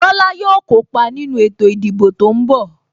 Tola yo kópa nínú ètò ìdìbò tó ń bọ̀